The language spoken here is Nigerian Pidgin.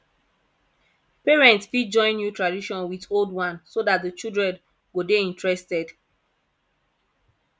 parents fit join new tradition with old one so dat di children go dey interested